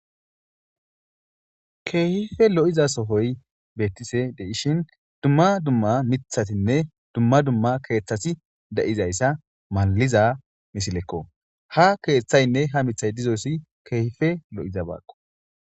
Keehife lo7iza sohoy beettise deishin dumma dumma mithatinne dumma dumma keeththasi da7izayssa maaliza misilekko ha keeththaynne ha mithay dizoyssi keehife lo7iza baakko